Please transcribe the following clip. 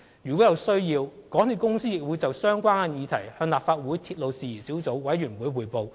如果有需要，港鐵公司亦會就相關議題向立法會鐵路事宜小組委員會匯報。